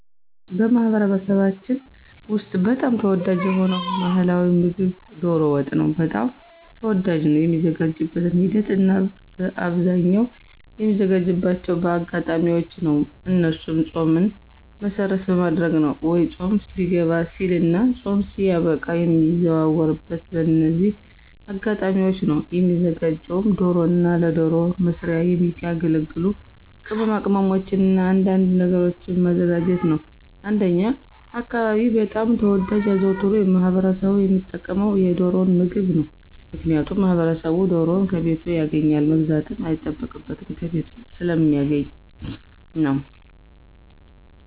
በማኅበረሰባችን ውስጥ በጣም ተወዳጅ የሆነው ባሕላዊ ምግብ ዶሮ ወጥ በጣም ተወዳጅ ነው። የሚዘጋጅበትን ሂደት እናበአብዛኛው የሚዘጋጅባቸው በአጋጣሚዎች ነው እነሱም ፆምን መሰረት በማድረግ ነው ወይ ፆም ሊገባ ሲልና ፆም ሲያበቃ የሚዘወተረው በእነዚህ አጋጣሚዎች ነው። የሚዘጋጀውም ዶሮና ለዶሮ መስሪያ የሚያገለግሉ ቅማቅመሞችንና አንዳንድ ነገሮችን ማዘጋጀት ነው። እንደኛ አካባቢ በጣም ተወዳጅና አዘውትሮ ማህበረሰቡ ሚጠቀምበት የዶሮን ምግብ ነው። ምክንያቱም ማህበረሰቡ ዶሮን ከቤቱ ያገኛል መግዛትም አይጠበቅበትም ከቤቱ ስለሚያገኛት ነው።